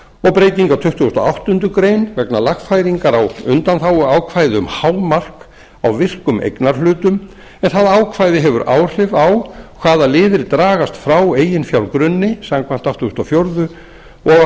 breyting á tuttugustu og áttundu grein vegna lagfæringar á undanþáguákvæði um hámark á virkum eignarhlutum en það ákvæði hefur áhrif á hvaða liðir dragast frá eiginfjárgrunni samkvæmt áttugustu og fjórða og